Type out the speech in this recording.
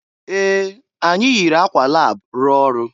Ee! Anyị yiri akwa lab rụọ ọrụ.